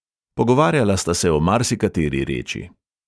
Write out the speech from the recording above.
Pogovarjala sta se o marsikateri reči.